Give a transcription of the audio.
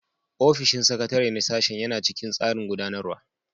Ofishin sakatare na sashen yana cikin tsarin gudanarwa